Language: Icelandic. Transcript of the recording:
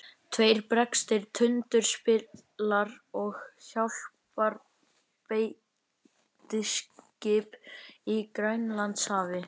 Tveir breskir tundurspillar og hjálparbeitiskip í Grænlandshafi.